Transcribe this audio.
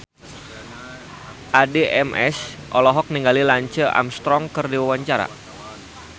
Addie MS olohok ningali Lance Armstrong keur diwawancara